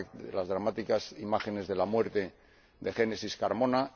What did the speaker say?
las dramáticas imágenes de la muerte de Génesis Carmona